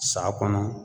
Sa kɔnɔ